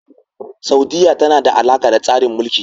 Saudiyya tana da alaƙa da tsarin Mulki.